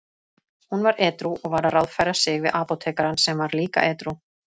Hún var edrú og var að ráðfæra sig við apótekarann sem var líka edrú.